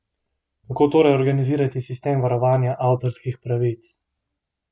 Kako torej organizirati sistem varovanja avtorskih pravic?